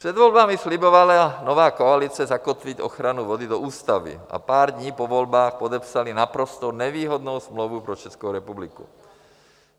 Před volbami slibovala nová koalice zakotvit ochranu vody do ústavy a pár dní po volbách podepsali naprosto nevýhodnou smlouvu pro Českou republiku.